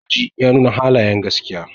Magaji ya nuna halayen gaskiya.